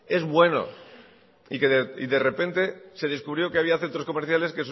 es bueno y de repente se descubrió que había centros comerciales